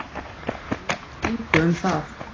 Laug engu um það.